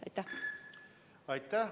Aitäh!